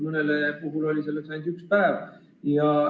Mõnel puhul on selleks olnud ainult üks päev.